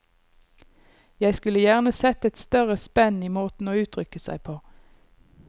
Jeg skulle gjerne sett et større spenn i måten å uttrykke seg på.